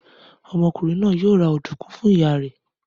Ọmọkùnrin náà yóò ra ọ̀dùnkún fún ìyá rẹ̀.